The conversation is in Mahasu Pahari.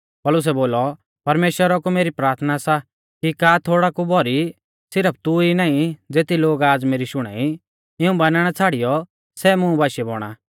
पौलुसै बोलौ परमेश्‍वरा कु मेरी प्राथना सा कि का थोड़ौ का भौरी सिरफ तू ई नाईं ज़ेती लोग आज़ मेरी शुणाई इऊं बानणा छ़ाड़ियौ सै मुं बाशीऐ बौणा